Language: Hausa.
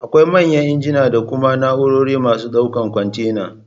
Akwai manyan injina da kuma na'urorin masu ɗaukan kwantena